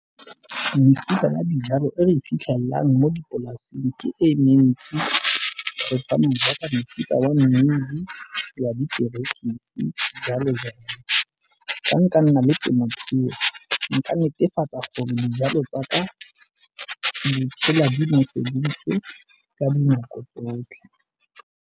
Mefuta ya dijalo e re e fitlhelelang mo dipolaseng ke e mentsi go tshwana jaaka mofuta wa mmidi, wa diperekisi jalo jalo. Fa nka nna le temothuo nka netefatsa gore dijalo tsaka di phela di noseditswe ka dinako tsotlhe.